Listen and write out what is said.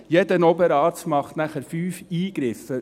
Jeder Oberarzt macht 5 Eingriffe.